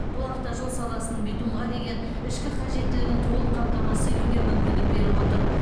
бұл автожол саласының битумға деген ішкі қажеттілігін толық қамтамасыз етуге мүмкіндік беріп отыр